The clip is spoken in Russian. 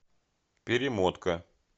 перемотка